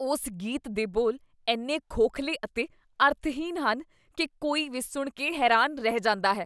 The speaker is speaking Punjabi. ਉਸ ਗੀਤ ਦੇ ਬੋਲ ਇੰਨੇ ਖੋਖਲੇ ਅਤੇ ਅਰਥਹੀਣ ਹਨ ਕੀ ਕੋਈ ਵੀ ਸੁਣ ਕੇ ਹੈਰਾਨ ਰਹਿ ਜਾਂਦਾ ਹੈ।